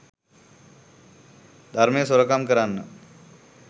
ධර්මය සොරකම් කරන්න.